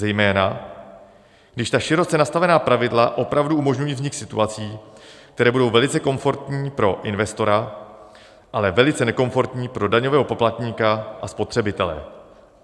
Zejména když ta široce nastavená pravidla opravdu umožňují vznik situací, které budou velice komfortní pro investora, ale velice nekomfortní pro daňového poplatníka a spotřebitele.